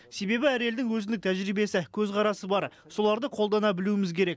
себебі әр елдің өзіндік тәжірибесі көзқарасы бар соларды қолдана білуіміз керек